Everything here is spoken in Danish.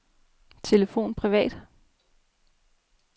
telefon privat